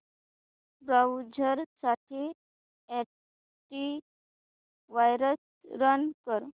browser साठी antivirus run कर